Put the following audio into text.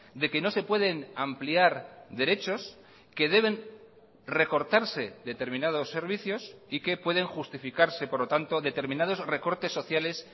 de que no se pueden ampliar derechos que deben recortarse determinados servicios y que pueden justificarse por lo tanto determinados recortes sociales